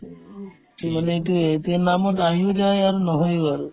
কি মানে কি এতিয়া নামত আহিও যায় আৰু নহয়ও আৰু